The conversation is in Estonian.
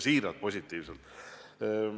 Siiralt!